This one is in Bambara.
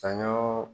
Saɲɔ